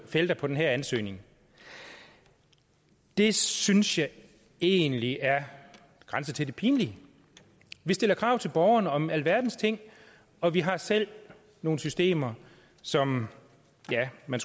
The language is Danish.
felter på den her ansøgning det synes jeg egentlig grænser til det pinlige vi stiller krav til borgerne om alverdens ting og vi har selv nogle systemer som ja man